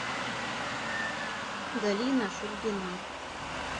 галина шульгина